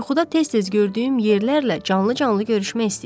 Yuxuda tez-tez gördüyüm yerlərlə canlı-canlı görüşmək istəyirəm.